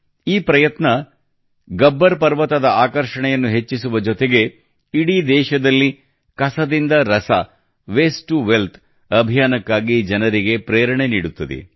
ಈ ಪ್ರಯತ್ನ ಗಬ್ಬರ್ ಪರ್ವತದ ಆಕರ್ಷಣೆಯನ್ನು ಹೆಚ್ಚಿಸುವ ಜೊತೆಗೆ ಇಡೀ ದೇಶದಲ್ಲಿ ಕಸದಿಂದ ರಸ ವೇಸ್ಟ್ ಟು ವೆಲ್ತ್ ಅಭಿಯಾನಕ್ಕಾಗಿ ಜನರಿಗೆ ಪ್ರೇರಣೆ ನೀಡುತ್ತದೆ